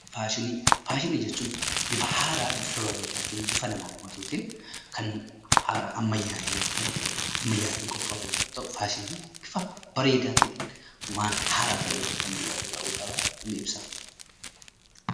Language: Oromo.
Faashinii: Faashinii jechuun bifa haaraa, bifa bareedaatin, bifa nama hawwatuutiin, kan ammayyaa'e yookan ammayyaatin qophaa'u yommuu ta'u faashiniin bifa bareedaatiin, waan haaraa ta'eetiin kan mul'atu ta'uusaa ni ibsa.